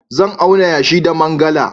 Zan auna yashi da mangala.